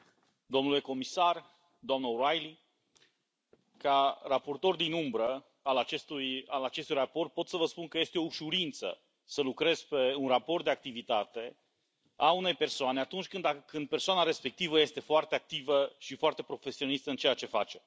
Domnule președinte, domnule comisar, doamnă O'Reilly, ca raportor din umbră al acestui raport, pot să vă spun că este o ușurință să lucrez pe un raport de activitate a unei persoane atunci când persoana respectivă este foarte activă și foarte profesionistă în ceea ce face.